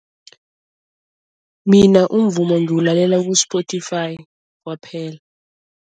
Mina umvumo ngiwulalela ku-Spotify kwaphela.